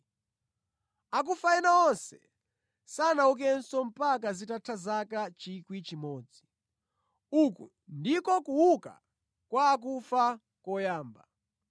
(Akufa ena onse sanaukenso mpaka zitatha zaka 1,000). Uku ndiko kuuka kwa akufa koyamba.